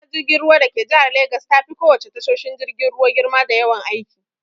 Tashar jirgin ruwa dake jihar Legas tafi ko wace tashoshin jirgin ruwa girma da yawan aiki.